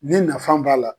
Ni nafan b'a la